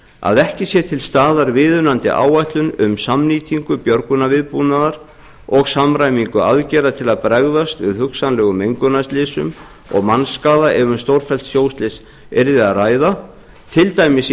að ekki sé til staðar viðunandi áætlun um samnýtingu björgunarviðbúnaðar og samræmingu aðgerða til að bregðast við hugsanlegum mengunarslysum og mannskaða ef um stórfellt sjóslys yrði að ræða til dæmis í